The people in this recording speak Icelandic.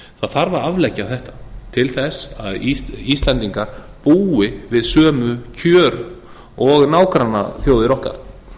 að afleggja þetta til þess að íslendingar búi við sömu kjör og nágrannaþjóðir okkar